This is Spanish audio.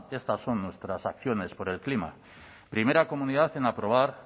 estas son nuestras acciones por el clima primera comunidad en aprobar